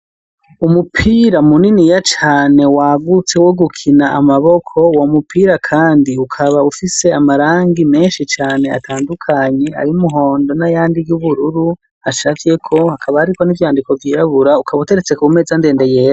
Umupira muniniya cane, wagutse wogukina n'amaboko, uwo mupira kandi ukaba ufise amarangi menshi cane atandukanye: ay'umuhondo n'ayandi y'ubururu acafyeko, hakaba hariko n'ivyandiko vyirabura, ukaba uteretse ku meza ndende yera.